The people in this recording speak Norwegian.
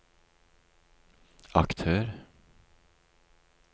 aktør